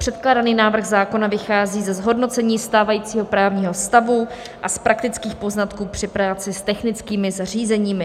Předkládaný návrh zákona vychází ze zhodnocení stávajícího právního stavu a z praktických poznatků při práci s technickými zařízeními.